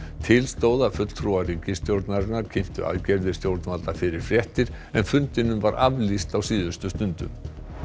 til stóð að fulltrúar ríkisstjórnarinnar kynntu aðgerðir stjórnvalda fyrir fréttir en fundinum var aflýst á síðustu stundu